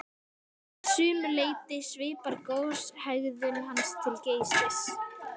Að sumu leyti svipar goshegðun hans til Geysis.